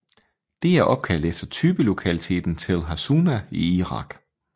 Det er opkaldt efter typelokaliteten Tell Hassuna i Irak